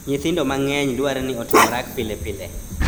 Nyithindo mang�eny dware ni otim orako pile pile .